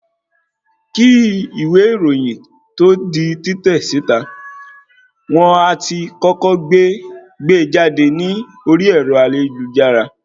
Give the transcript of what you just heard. Kín ìwé ìròyìn tó di títẹ̀ síta, wón á ti kọ́kọ́ gbe jáde ní orí ẹ̀rọ ayélujára.